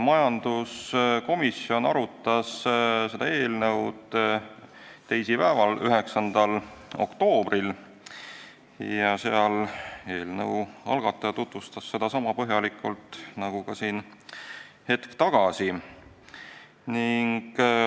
Majanduskomisjon arutas seda eelnõu teisipäeval, 9. oktoobril ja eelnõu algataja tutvustas seda seal sama põhjalikult nagu siin hetk tagasi.